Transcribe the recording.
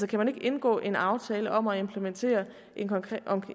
kan man ikke indgå en aftale om at implementere